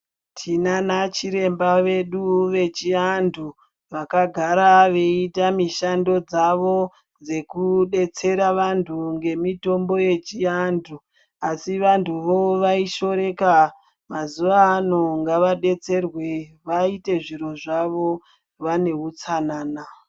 Tinanachiremba vedu vechi antu, vakagara veyita mishando dzavo dzekudetsera vantu ngemitombo yechi antu. Asi, vantu vo vaishoreka mazuva ano ngavadetserwe vaite zvinhu zvavo vanehutsanana.